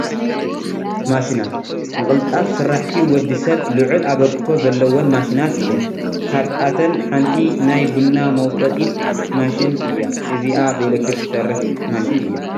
ማሽናት፡- ንቕልጣፍ ስራሕቲ ወዲ ሰብ ልዑል ኣበርክቶ ዘለወን ማሽናት እየን፡፡ ካብኣተን ሓንቲ ናይ ቡና መውቀጢት ማሽን እያ፡፡ እዚኣ ብኤሌክትሪክ ትሰርሕ ማሽን እያ፡፡